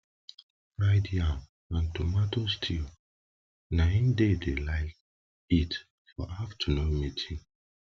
fried yam and tomato stew nai they de like eat for afternoon meeting